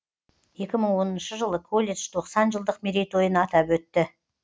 екі мың оныншы жылы колледж тоқсан жылдық мерейтойын атап өтті